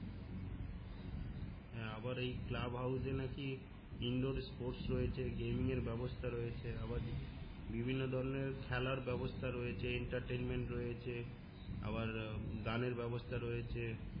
হ্যা আবার এই ক্লাব হাউকে নাকি ইন্ডোর স্পোর্টস রয়েছে গেইমিনং এর ব্যাবস্থা রয়েছে আবার বিভিন্ন ধরনের খেলার ব্যাবস্থা রয়েছে রয়েছে আবার আহ গানের ব্যাবস্থা রয়েছে